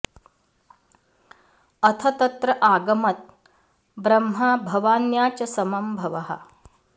अथ तत्र आगमत् ब्रह्मा भवान्या च समं भवः